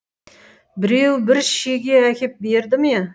біреуі бір шеге әкеп берді ме